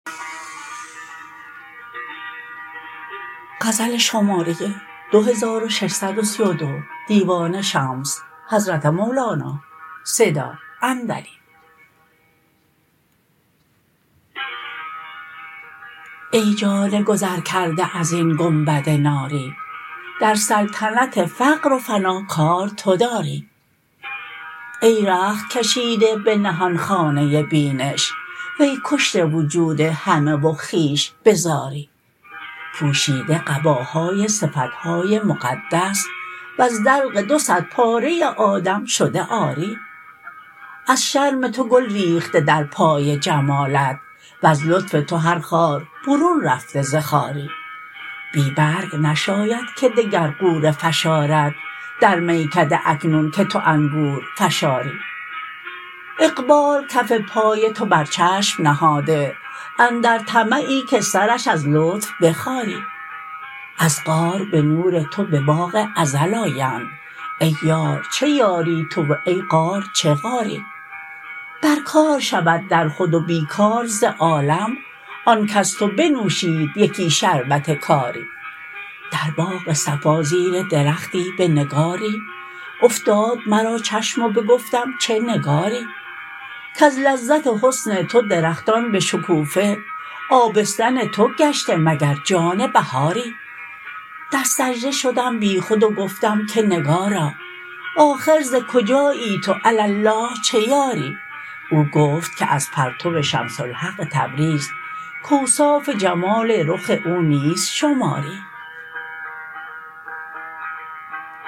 ای جان گذرکرده از این گنبد ناری در سلطنت فقر و فنا کار تو داری ای رخت کشیده به نهان خانه بینش وی کشته وجود همه و خویش به زاری پوشیده قباهای صفت های مقدس وز دلق دو صدپاره آدم شده عاری از شرم تو گل ریخته در پای جمالت وز لطف تو هر خار برون رفته ز خاری بی برگ نشاید که دگر غوره فشارد در میکده اکنون که تو انگور فشاری اقبال کف پای تو بر چشم نهاده اندر طمعی که سرش از لطف بخاری از غار به نور تو به باغ ازل آیند ای یار چه یاری تو و ای غار چه غاری بر کار شود در خود و بی کار ز عالم آن کز تو بنوشید یکی شربت کاری در باغ صفا زیر درختی به نگاری افتاد مرا چشم و بگفتم چه نگاری کز لذت حسن تو درختان به شکوفه آبستن تو گشته مگر جان بهاری در سجده شدم بیخود و گفتم که نگارا آخر ز کجایی تو علی الله چه یاری او گفت که از پرتو شمس الحق تبریز کاوصاف جمال رخ او نیست شماری